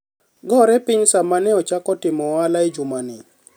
gore piny sama ochako timo ohala e juma ni.